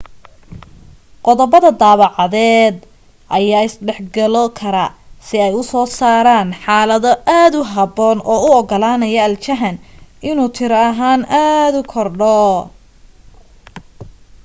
qodobada dabeecadeed ayaa is dhexgalo kara si ay u soo saaraan xaalado aad u habboon oo u ogolaanaya aljahan inuu tiro ahaan aad u kordho